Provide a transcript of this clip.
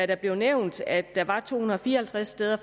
det blev nævnt at der faktisk var to hundrede og fire og halvtreds steder